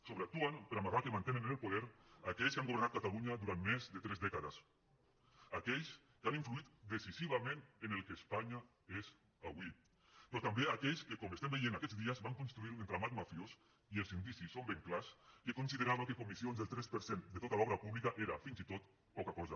sobreactuen per amagar que mantenen en el poder aquells que han governat catalunya durant més de tres dècades aquells que han influït decisivament en el que espanya és avui però també aquells que com estem veient aquests dies van construir un entramat mafiós i els indicis són ben clars que considerava que comissions del tres per cent de tota l’obra pública era fins i tot poca cosa